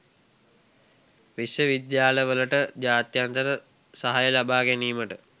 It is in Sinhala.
විශ්ව විද්‍යාලවලට ජාත්‍යන්තර සහාය ලබාගැනීමට